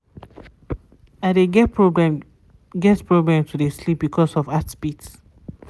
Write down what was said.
i de get problem get problem to de sleep because of heartbeat